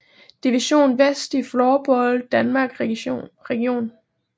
Division vest i Floorball Danmark regi